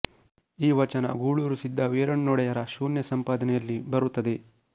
ಈ ವಚನ ಗೂಳೂರು ಸಿದ್ಧ ವೀರಣ್ಣೊಡೆಯರ ಶೂನ್ಯ ಸಂಪಾದನೆಯಲ್ಲಿ ಬರುತ್ತದೆ